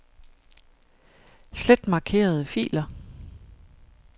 Slet markerede filer.